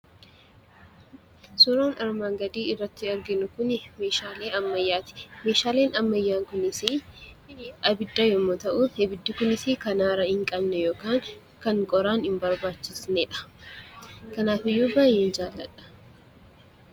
Suuraan armaan gadii irratti arginu kun meeshaalee ammayyaati. Meeshaaleen ammayyee kunis abidda yemmuu ta'u, abiddi kunis kan aara hin qabne yookaan kan qoraan hin barbaachisneedha. Kanaaf iyyuu baay'een jaalladha.